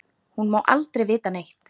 Hún má aldrei vita neitt.